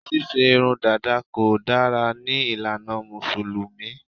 Ṣíṣe irun dàda kò dára ní ìlànà Mùsùlùmí